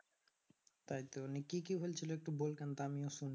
তাইতো নিয়ে কি কি হয়েছিল একটু বল কেন তা আমিও শুনি।